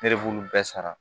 Ne de b'olu bɛɛ sara